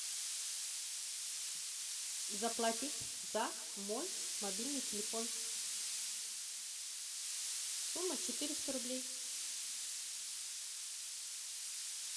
заплатить за мой мобильный телефон сумма четыреста рублей